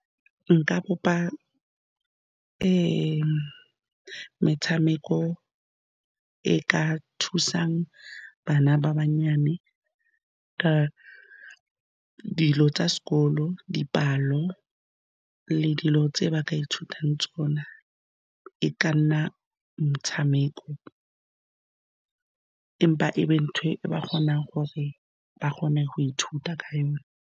Nka bopa metshameko e e ka thusang bana ba bannyane ka dilo tsa sekolo, dipalo, le dilo tse ba ka ithutang tsona. E ka nna motshameko, empa e be ntho e ba kgonang gore ba kgone go ithuta ka yone.